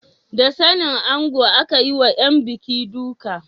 Da sanin ango aka yi wa ‘yan buki duka.